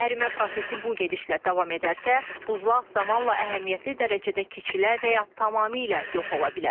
Ərimə prosesi bu gedişlə davam edərsə, buzlaq zamanla əhəmiyyətli dərəcədə kiçilə və ya tamamilə yox ola bilər.